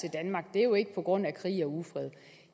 til danmark det er jo ikke på grund af krig og ufred